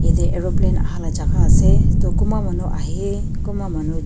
yatae aeroplane ahala jaka ase toh kunba manu ahae kunba manu jai--